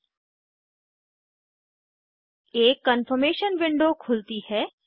एक confirmation confirmation window खुलती है